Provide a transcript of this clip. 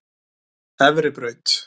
Efribraut